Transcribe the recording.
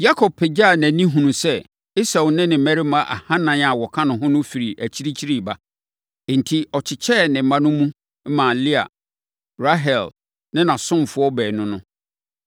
Yakob pagyaa nʼani hunuu sɛ Esau ne ne mmarima ahanan a wɔka no ho firi akyirikyiri reba. Enti, ɔkyekyɛɛ ne mma no mu maa Lea, Rahel ne nʼasomfoɔ baanu no.